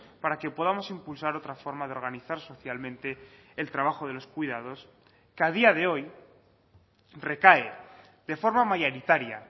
para que podamos impulsar otra forma de organizar socialmente el trabajo de los cuidados que a día de hoy recae de forma mayoritaria